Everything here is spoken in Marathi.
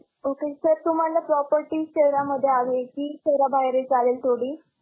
Okay Sir तुम्हांला property शहरांमध्ये हवी की? शहरा बाहेरील चालेल थोडी?